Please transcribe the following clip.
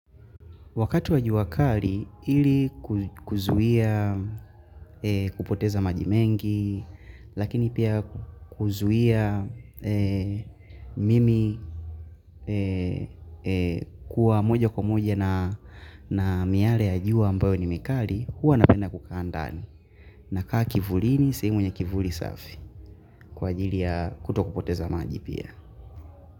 Wakati wajua kari, ili kuzuia kupoteza maji mengi, lakini pia kuzuia eeh mimi eeh kuwa moja kwa moja na miale ya jua ambayo ni mikari, huwa napenda kukaa andani. Na kaa kivulini, sehemu yenye kivuli safi kwa ajili ya kuto kupoteza maji pia.